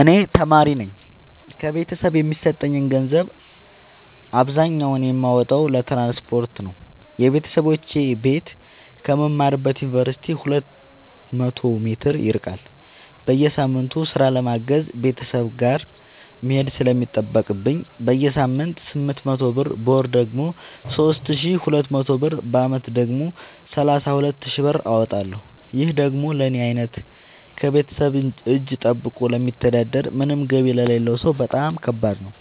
እኔ ተማሪነኝ ከቤተሰብ የሚሰጠኝን ገንዘብ አብዛኛውን የማወጣው ለትራንስፖርት ነው የበተሰቦቼ ቤት ከምማርበት ዮንቨርሲቲ ሁለት መቶ ሜትር ይርቃል። በየሳምቱ ስራ ለማገዝ ቤተሰብ ጋር መሄድ ስለሚጠቅብኝ በሳምንት ስምንት መቶ ብር በወር ደግሞ ሶስት ሺ ሁለት መቶ ብር በአመት ደግሞ ሰላሳ ሁለት ሺ ብር አወጣለሁ ይህ ደግሞ ለኔ አይነቱ ከቤተሰብ እጂ ጠብቆ ለሚተዳደር ምንም ገቢ ለሌለው ሰው በጣም ከባድ ነው።